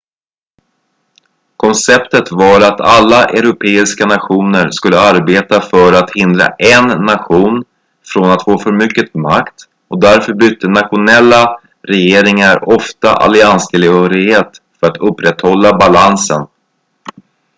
konceptet var att alla europeiska nationer skulle arbeta för att hindra en nation från att få för mycket makt och därför bytte nationella regeringar ofta allianstillhörighet för att upprätthålla balansen